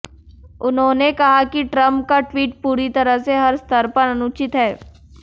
उन्होंने कहा कि ट्रंप का ट्वीट पूरी तरह से हर स्तर पर अनुचित है